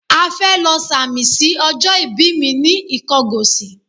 À fẹ́ lọ sàmì sí ọjọ́ ibi mi ní Ìkọgòsì.